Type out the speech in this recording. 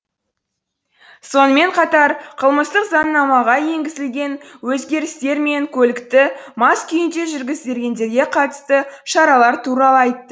сонымен қатар қылмыстық заңнамаға енгізілген өзгерістер мен көлікті мас күйінде жүргізгендерге қатысты шаралар туралы айтты